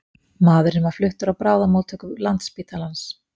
Maðurinn var fluttur á bráðamóttöku Landspítalans